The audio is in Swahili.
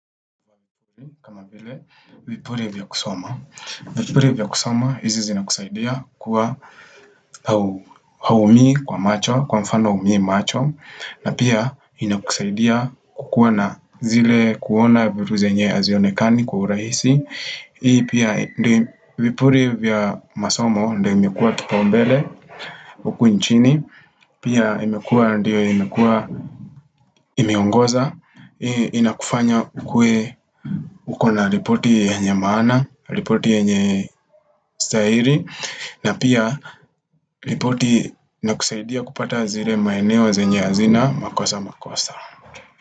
Kama vile, vipuri vya kusoma. Vipuri vya kusoma, hizi zinakusaidia kuwa hauumii kwa macho, kwa mfano huumii macho, na pia inakusaidia kukuwa na zile kuona vitu zenye hazionekani kwa urahisi. Hii pia ndio vipuri vya masomo ndio imekuwa kipaumbele huku nchini Pia imekuwa ndio imekuwa imeongoza. Hii inakufanya ukuwe ukona ripoti yenye maana, ripoti yenye stahiri na pia ripoti inakusaidia kupata zile maeneo zenye hazina makosa makosa.